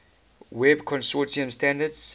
web consortium standards